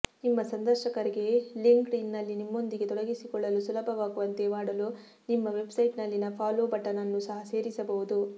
ನಿಮ್ಮ ಸಂದರ್ಶಕರಿಗೆ ಲಿಂಕ್ಡ್ಇನ್ನಲ್ಲಿ ನಿಮ್ಮೊಂದಿಗೆ ತೊಡಗಿಸಿಕೊಳ್ಳಲು ಸುಲಭವಾಗುವಂತೆ ಮಾಡಲು ನಿಮ್ಮ ವೆಬ್ಸೈಟ್ನಲ್ಲಿನ ಫಾಲೋ ಬಟನ್ ಅನ್ನು ಸಹ ಸೇರಿಸಬಹುದು